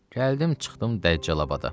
Gəldim, çıxdım Dəccalabada.